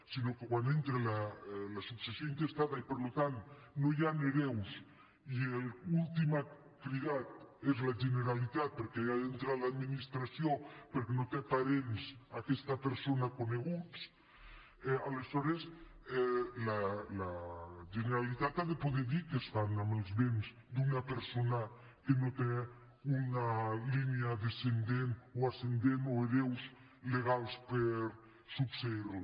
sinó que quan entra la successió intestada i per tant no hi han hereus i l’últim cridat és la generalitat perquè hi ha d’entrar l’administració perquè no té parents aquesta persona coneguts aleshores la generalitat ha de poder dir què es fa amb els béns d’una persona que no té una línia descendent o ascendent o hereus legals per succeir la